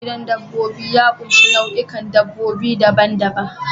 Gidan dabbobi ya ƙunshi nau'ikan dabbobi daban-daban.